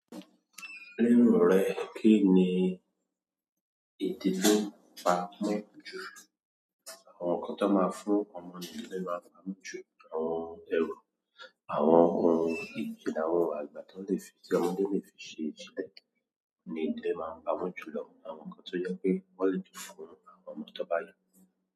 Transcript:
Lero rẹ kí ni èdè to pa mọ́ jù? Àwọn nǹkan ti máa ń fún ọmọ nílé máa ń pamọ́ jù, àwọn ẹrù, àwọn ohun ìjìnnà, àwọn àgbà ti won ke le fi, ti ọmọdé lè fi ṣe ni ìdí ẹ máa ń pamọ́ jù lọ. Àwọn nǹkan tó jẹ́ pé wọ́n lè dùn fún àwọn ọmọ tọ́ bá yàn.